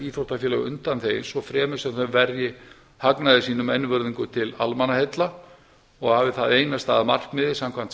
íþróttafélög undanþegin svo fremi sem þau verji hagnaði sínum einvörðungu til almannaheilla og hafi það einasta að markmiði samkvæmt